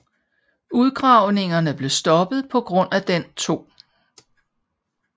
Udgravningerne blev stoppet på grund af den 2